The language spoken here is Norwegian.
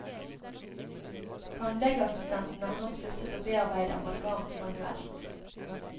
Tannlegeassistentene har nå sluttet å bearbeide amalgam manuelt.